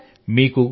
అవును సర్